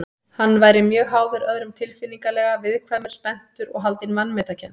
Hann væri mjög háður öðrum tilfinningalega, viðkvæmur, spenntur og haldinn vanmetakennd.